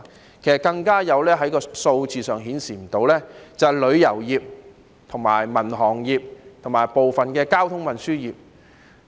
數字上更加無法顯示的，便是旅遊業、民航業和部分交通運輸業。